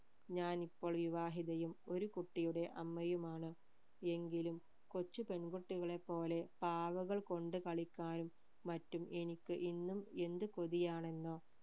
ഞാൻ ഇപ്പോൾ വിവാഹിതയും ഒരു കുട്ടിയുടെ അമ്മയുമാണ് എങ്കിലും കൊച്ചു പെൺകുട്ടികളെ പോലെ പാവകൾ കൊണ്ട് കളിക്കാനും മറ്റും എനിക്ക് ഇന്നും എന്ത് കൊതിയാണെന്നോ